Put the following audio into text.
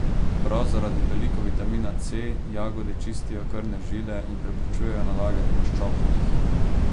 Prav zaradi veliko vitamina C jagode čistijo krvne žile in preprečujejo nalaganje maščob v njih.